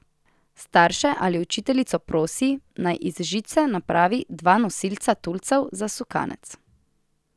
Starše ali učiteljico prosi, naj iz žice napravi dva nosilca tulcev za sukanec.